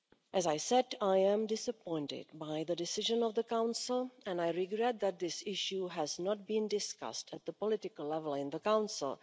As I said, I am disappointed by the decision of the Council and I regret that this issue has not been discussed at political level in the Council.